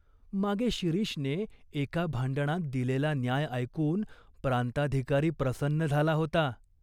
मागे शिरीषने एका भांडणात दिलेला न्याय ऐकून प्रांताधिकारी प्रसन्न झाला होता.